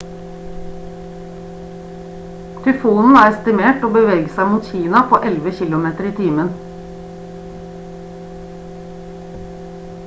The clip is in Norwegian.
tyfonen er estimert til å bevege seg mot kina på 11 kilometer i timen